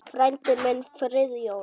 Frændi minn, Friðjón